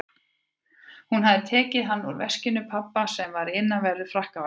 Hún hafði tekið hann úr veski pabba sem var í innanverðum frakkavasanum.